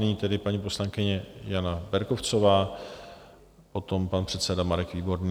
Nyní tedy paní poslankyně Jana Berkovcová, potom pan předseda Marek Výborný.